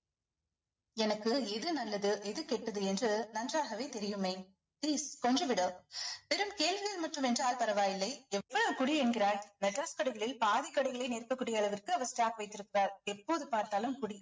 எனக்கு இது நல்லது எது கெட்டது என்று நன்றாகவே தெரியும் மெய் please கொன்று விடு வெறும் கேள்விகள் மட்டும் என்றால் பரவாயில்லை எவ்வளவு குடி என்கிறாய் மெட்ராஸ் கடைகளில் பாதி கடைகளை அளவிற்கு அவர் stock வைத்திருக்கிறார் எப்போது பார்த்தாலும் குடி